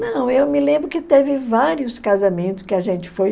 Não, eu me lembro que teve vários casamentos que a gente foi.